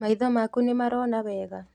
Maitho maku nĩ marona wega?